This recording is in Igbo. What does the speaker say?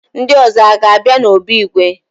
Ndị ọzọ aga-abịa n'obi igwe?